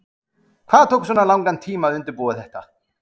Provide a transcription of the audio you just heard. Helga: Hvað tók svona langan tíma að undirbúa þetta?